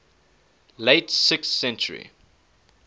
late sixth century